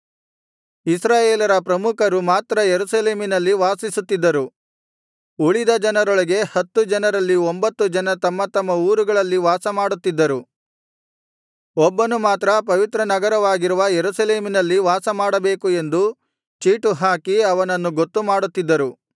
ಇಸ್ರಾಯೇಲರ ಪ್ರಮುಖರು ಮಾತ್ರ ಯೆರೂಸಲೇಮಿನಲ್ಲಿ ವಾಸಿಸುತ್ತಿದ್ದರು ಉಳಿದ ಜನರೊಳಗೆ ಹತ್ತು ಜನರಲ್ಲಿ ಒಂಭತ್ತು ಜನ ತಮ್ಮ ತಮ್ಮ ಊರುಗಳಲ್ಲಿ ವಾಸಮಾಡುತ್ತಿದ್ದರು ಒಬ್ಬನು ಮಾತ್ರ ಪವಿತ್ರನಗರವಾಗಿರುವ ಯೆರೂಸಲೇಮಿನಲ್ಲಿ ವಾಸಮಾಡಬೇಕು ಎಂದು ಚೀಟು ಹಾಕಿ ಅವನನ್ನು ಗೊತ್ತು ಮಾಡುತ್ತಿದ್ದರು